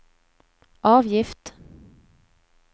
avgift